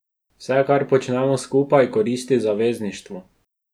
Vse, kar počnemo skupaj, koristi zavezništvu.